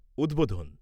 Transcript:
উদ্বোধন